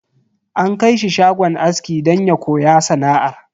An kai shi shagon aski don ya koya sana'ar.